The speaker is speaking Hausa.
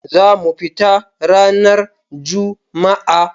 za mu fita ranar Juma'a.